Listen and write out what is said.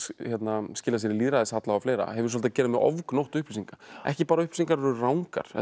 skilað sér í lýðræðishalla og fleira hefur svolítið að gera með ofgnótt upplýsinga ekki bara að upplýsingar eru rangar heldur